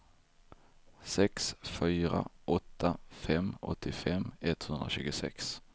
sex fyra åtta fem åttiofem etthundratjugosex